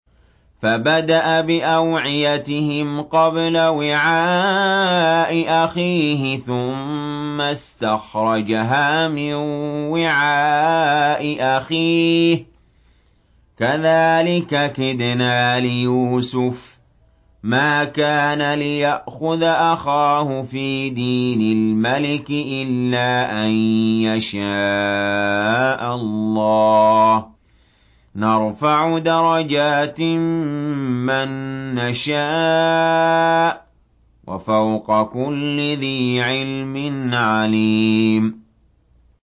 فَبَدَأَ بِأَوْعِيَتِهِمْ قَبْلَ وِعَاءِ أَخِيهِ ثُمَّ اسْتَخْرَجَهَا مِن وِعَاءِ أَخِيهِ ۚ كَذَٰلِكَ كِدْنَا لِيُوسُفَ ۖ مَا كَانَ لِيَأْخُذَ أَخَاهُ فِي دِينِ الْمَلِكِ إِلَّا أَن يَشَاءَ اللَّهُ ۚ نَرْفَعُ دَرَجَاتٍ مَّن نَّشَاءُ ۗ وَفَوْقَ كُلِّ ذِي عِلْمٍ عَلِيمٌ